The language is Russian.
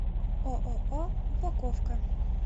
ооо упаковка